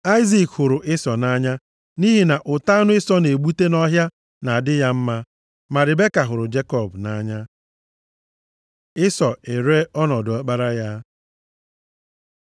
Aịzik hụrụ Ịsọ nʼanya nʼihi na ụtọ anụ Ịsọ na-egbute nʼọhịa na-adị ya mma, ma Ribeka hụrụ Jekọb nʼanya. Ịsọ eree ọnọdụ ọkpara ya